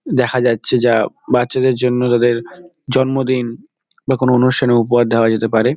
দেখা যাচ্ছে যা বাচ্চাদের জন্য তাদের জন্মদিন বা অনুষ্ঠানে উপহার দেওয়া যেতে পারে।